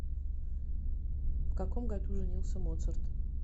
в каком году женился моцарт